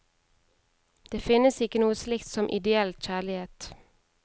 Det finnes ikke noe slikt som ideell kjærlighet.